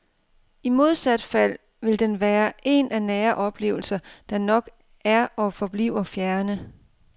I modsat fald vil den være en af nære oplevelser, der nok er og forbliver fjerne.